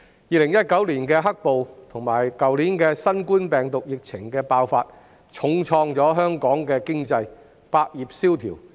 2019年的"黑暴"及去年新冠病毒疫情爆發，重創香港的經濟，百業蕭條。